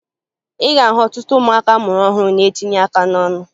Ị ga-ahụ ọtụtụ ụmụaka a mụrụ ọhụrụ na-etinye aka n'ọnụ